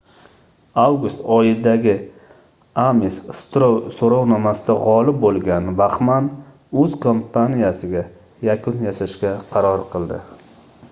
avgust oyidagi ames strow soʻrovnomasida gʻolib boʻlgan baxman oʻz kampaniyasiga yakun yasashga qaror qildi